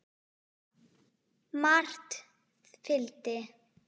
Margt fylgdi.